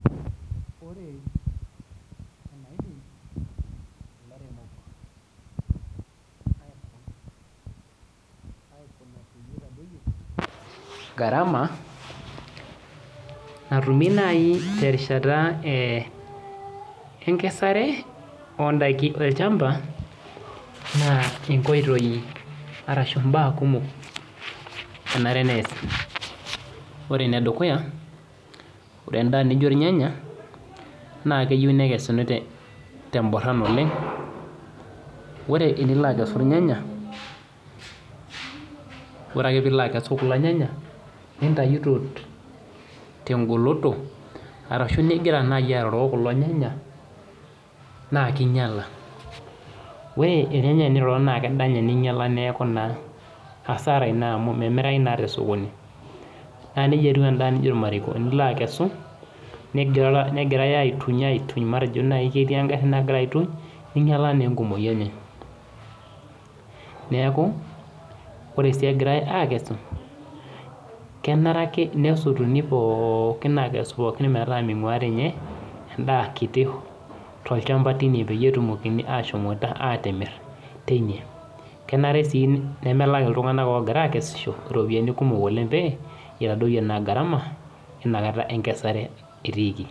Ore enaidim ilairemok aikuna peyie eitadoiyo garama natumi naite rishata enkesare ondaki olchamba naa inkoitoi arashu imbaa kumok enare neasi, ore nedekuya, ore endaa nijo ilnyenya naa keyeu nekesuni te mboron oleng, ore enilo akesu ilnyanya, ore ake piilo akesu kulo ilnyanya nintaiyo te ngoloto arashu nigira naa aoroo kulo ilnyanya naa keinyala ore ilnyanya kelo naa kedanyaa ninye nemeaku naa hasara ina amu memirai naa tosokoni, naa neja etiu enda nijo ilmarekoni, ilo akesu negirai aituny, aituny matejo nai ketii engarri nagira aituny, neingataa naa enkumoi enye, neaku kore sui egirai aakesu kenare ake nesotuni pookin akesu pookin metaa meinguari ninye endaa kiti to ilchamba teine peyie etumokini ashomoita aaitimir teine, kenare sii nemelak iltunganak oogira aakesisho iropiyiani kumok oleng pee eitadoiyo naa garama einakata enkesare etiiki.